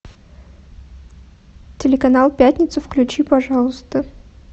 телеканал пятница включи пожалуйста